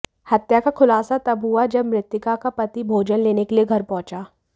हत्या का खुलासा तब हुआ जब मृतका का पति भोजन लेने के लिए घर पहुंचा